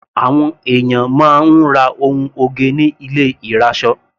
Àwọn ènìyàn máa ń ra ohun oge ní ilé ìrasọ.